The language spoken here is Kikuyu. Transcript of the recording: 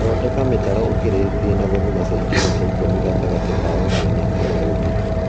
Thondeka mĩtaro ũkĩrĩtie na gũthima sentimita ikũmi gatagatĩ ka ũmwe na ũria ũngi